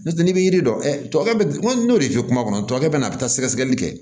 N'o tɛ n'i bɛ yiri dɔn kɛ n'o de fɛ kumakɛ bɛ na a bɛ taa sɛgɛsɛgɛli kɛ